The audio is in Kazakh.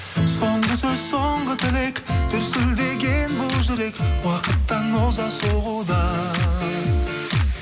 соңғы сөз соңғы тілек дүрсілдеген бұл жүрек уақыттан оза соғуда